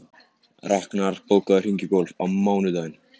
Raknar, bókaðu hring í golf á mánudaginn.